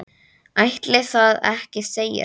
Ætli það ekki segir hann.